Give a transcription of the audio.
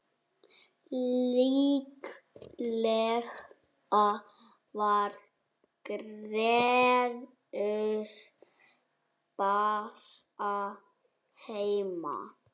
Líklega var Gerður bara heima.